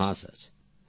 প্রেম জী হ্যাঁ